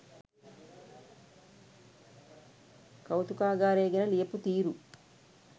කෞතුකාගාරය ගැන ලියපු තීරු